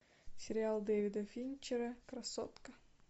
сериал дэвида финчера красотка